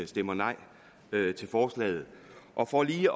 stemmer nej til forslaget og for lige